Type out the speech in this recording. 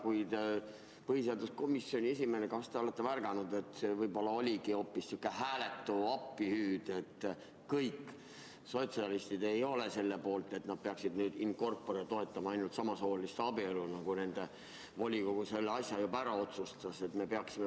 Kuid kas te põhiseaduskomisjoni esimehena olete mõelnud, et võib-olla oli see hoopis sihuke hääletu appihüüd ja et kõik sotsialistid ei olegi selle poolt, et nad peaksid nüüd in corpore toetama samasooliste abielu, nagu nende volikogu juba ära otsustas?